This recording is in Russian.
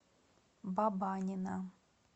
бабанина